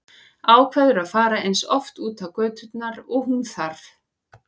Ákveður að fara eins oft út á göturnar og hún þarf.